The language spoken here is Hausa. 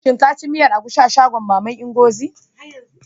Shin ka ci miyar agushi shagon maman Ngozi?